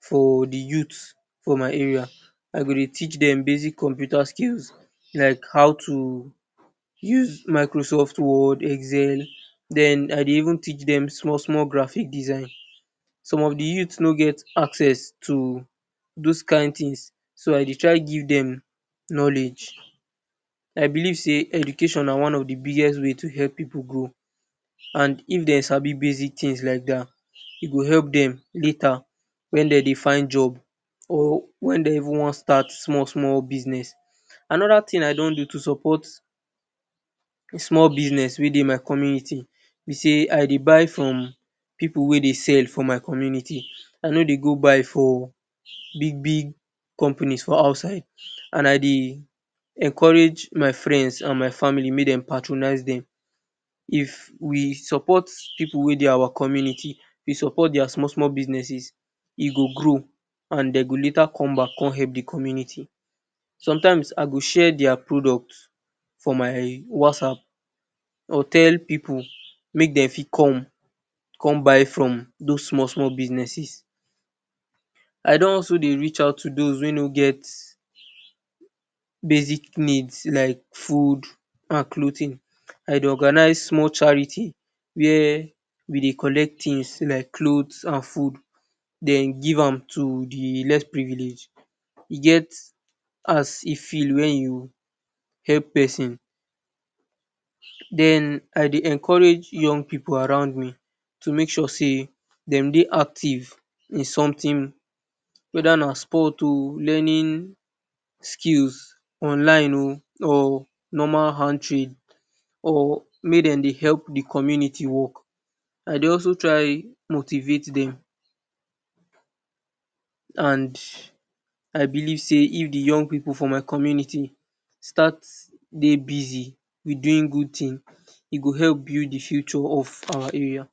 for de youths for my area, I go dey teach dem basic computer skills, like how to use Microsoft word, excel, den I dey even teach dem small small graphics design. Some of de youth nor get access to those kind things, so I dey try give dem knowledge. I believe sey education na one of de biggest way to help pipu grow and if dem sabi basic things like dat e go help dem later wen dem dey find job or wen dem even want start small small business. Another thing I don do to support small business wey dey my community be sey I dey buy from pipu wey dey sell for my community, I nor dey go buy for big big companies we dey outside, and I dey encourage my friends and my family make dem patronize dem. If we support pipu wey dey our community, we support their small small businesses e go grow and dem go later come back come help de community. Sometimes I go share their product for my whatsapp, I go tell pipu make dem fit come come buy from those small small businesses. I don also dey reach out to those wey nor get basic needs like food and clothing. I dey organize small charity where we dey collect things like clothe and food, den give am to de less privilege. E get as e feel wen you help person. Den I dey encourage young pipu around me to make sure sey dem dey active in something whether na sport um learning skills online um or normal hand trade, or make dem dey help de community work. I dey also try motivate dem and I believe say if de young pipu for my community start dey busy with doing good thing, e go help build de future of our area.